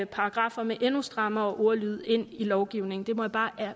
paragraffer med en endnu strammere ordlyd ind i lovgivningen det må jeg bare